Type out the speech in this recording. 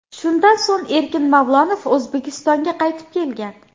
Shundan so‘ng Erkin Mavlonov O‘zbekistonga qaytib kelgan.